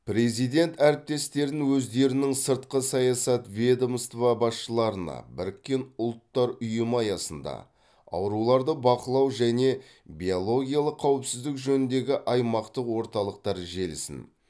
президент әріптестерін өздерінің сыртқы саясат ведомство басшыларына біріккен ұлттар ұйымы аясында ауруларды бақылау және биологиялық қауіпсіздік жөніндегі аймақтық орталықтар желісін